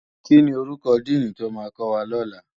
Kini órúkò dìní tó má kòwá lòlá?